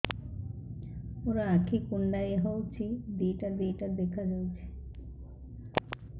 ମୋର ଆଖି କୁଣ୍ଡାଇ ହଉଛି ଦିଇଟା ଦିଇଟା ଦେଖା ଯାଉଛି